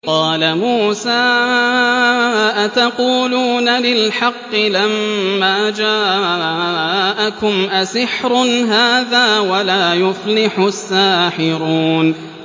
قَالَ مُوسَىٰ أَتَقُولُونَ لِلْحَقِّ لَمَّا جَاءَكُمْ ۖ أَسِحْرٌ هَٰذَا وَلَا يُفْلِحُ السَّاحِرُونَ